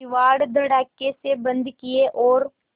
किवाड़ धड़ाकेसे बंद किये और